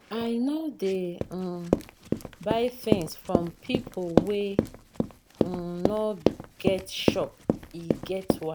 I no dey um buy tins from pipo wey um no get shop, e get why.